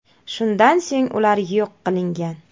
Shundan so‘ng ular yo‘q qilingan.